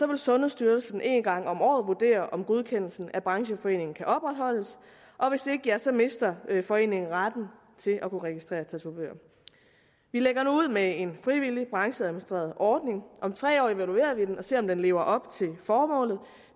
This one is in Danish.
vil sundhedsstyrelsen en gang om året vurdere om godkendelsen af brancheforeningen kan opretholdes og hvis ikke ja så mister foreningen retten til at kunne registrere tatovører vi lægger nu ud med en frivillig brancheadministreret ordning og om tre år evaluerer vi den og ser om den lever op til formålet